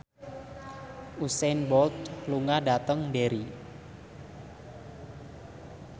Usain Bolt lunga dhateng Derry